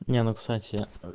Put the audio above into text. не ну кстати